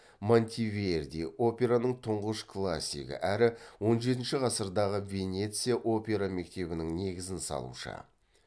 монтеверди операның тұңғыш классигі әрі он жетінші ғасырдағы венеция опера мектебінің негізін салушы